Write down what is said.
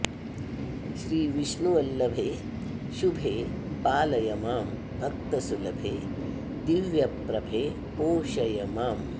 श्री विष्णुवल्लभे शुभे पालय मां भक्तसुलभे दिव्यप्रभे पोषय माम्